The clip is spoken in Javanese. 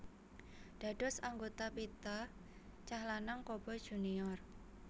Dados anggota pita cah lanang Coboy Junior